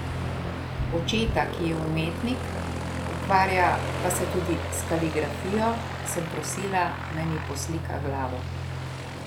Očeta, ki je umetnik, ukvarja pa se tudi s kaligrafijo, sem prosila, naj mi poslika glavo.